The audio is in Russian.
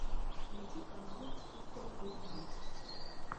найди канал хистори эйч ди